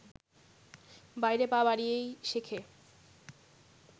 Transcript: বাইরে পা বাড়িয়েই শেখে